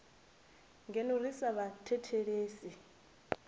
ngeno ri sa vha thethelesi